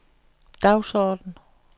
dagsorden